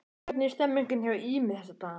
Hvernig er stemmningin hjá Ými þessa dagana?